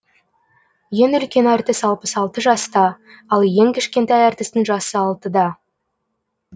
ең үлкен әртіс алпыс алты жаста ал ең кішкентай әртістің жасы алтыда